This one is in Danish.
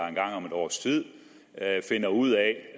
en gang om et års tid finder ud af